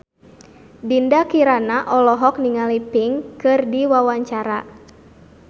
Dinda Kirana olohok ningali Pink keur diwawancara